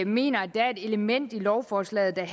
mener at der er et element i lovforslaget der